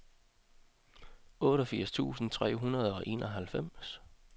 otteogfirs tusind tre hundrede og enoghalvfems